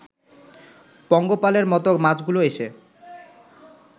পঙ্গপালের মতো মাছগুলো এসে